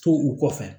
To u kɔfɛ